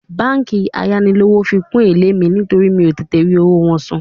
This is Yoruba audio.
Báńkì ayánilówókọ́lé fi kún èlé mi nítorí mi ò tètè rí owó wọn san